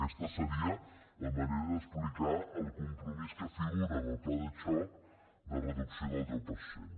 aquesta seria la manera d’explicar el compromís que figura en el pla de xoc de reducció del deu per cent